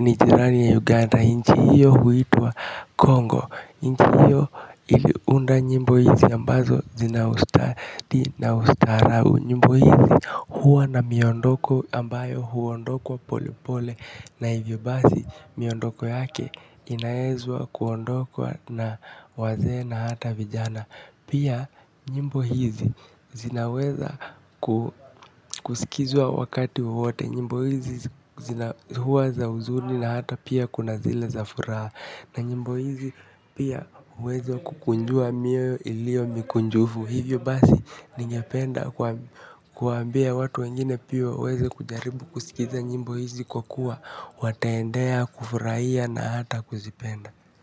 ni jirani ya uganda inchi hiyo huitwa Congo inchi hiyo iliunda nyimbo hizi ambazo zinaustadi na ustarabu. Nyimbo hizi huwa na miondoko ambayo huondokwa pole pole. Na hivyo basi miondoko yake inaezwa kuondokwa na wazee na hata vijana. Pia nyimbo hizi zinaweza kusikizwa wakati wowote. Nyimbo hizi zina huwa za huzuni na hata pia kuna zile za furaha. Na nyimbo hizi pia uweza kukunjua mioyo ilio mikunjufu. Hivyo basi ningependa kuambia watu wengine pia waweze kujaribu kusikiza nyimbo hizi kwa kua wataendea kufurahia na hata kuzipenda.